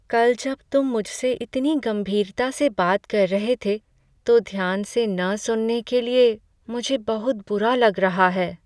कल जब तुम मुझसे इतनी गंभीरता से बात कर रहे थे तो ध्यान से न सुनने के लिए मुझे बहुत बुरा लग रहा है।